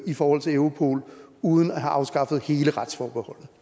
i forhold til europol uden at have afskaffet hele retsforbeholdet